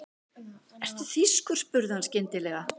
Ertu þýskur? spurði hann skyndilega.